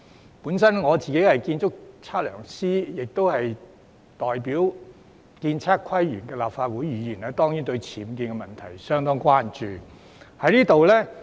我本身是建築測量師，亦是代表建築、測量、都市規劃及園境界功能界別的議員，我當然對僭建問題相當關注。